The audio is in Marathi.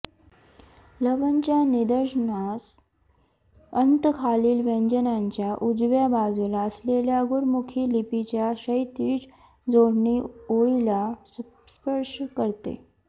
लवणच्या निदर्शनास अंत खालील व्यंजनांच्या उजव्या बाजूला असलेल्या गुरमुखी लिपीच्या क्षैतिज जोडणी ओळीला स्पर्श करते